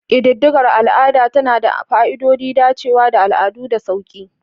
Ƙididdigar al'ada tana da fa'idodin dacewa da al'adu da sauƙi.